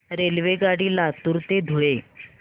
रेल्वेगाडी लातूर ते धुळे